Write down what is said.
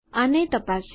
આને તપાસીએ